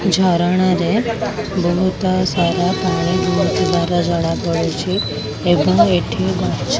ଝରଣା ରେ ବହୁତ ସାରା ପାଣି ବୋହୁ ଥିବାର ଜଣା ପଡୁଚି ଏବଂ ଏଠି ମାଛ ଗଛ --